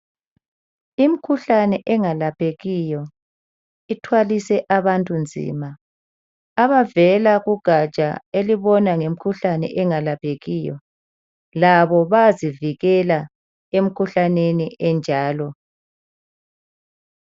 Imkhuhlane engalaphekiyo ithwalise abantu nzima. Abavela kugatsha elibona ngemkhuhlane engalaphekiyo labo bayazivikela emkhuhlaneni enjalo.